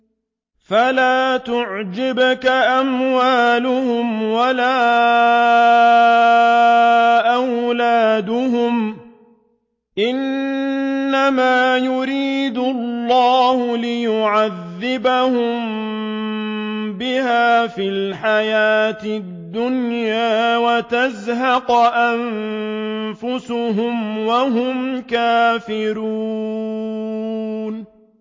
فَلَا تُعْجِبْكَ أَمْوَالُهُمْ وَلَا أَوْلَادُهُمْ ۚ إِنَّمَا يُرِيدُ اللَّهُ لِيُعَذِّبَهُم بِهَا فِي الْحَيَاةِ الدُّنْيَا وَتَزْهَقَ أَنفُسُهُمْ وَهُمْ كَافِرُونَ